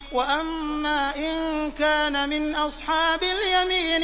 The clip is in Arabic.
وَأَمَّا إِن كَانَ مِنْ أَصْحَابِ الْيَمِينِ